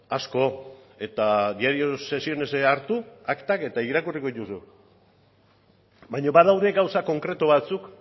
asko eta diario de sesiones hartu aktak eta irakurri dituzu baina badaude gauza konkretu batzuk